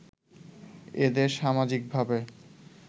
এদের সামাজিক ভাবে